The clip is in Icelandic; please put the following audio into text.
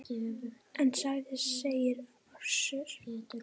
En hvað segir Össur?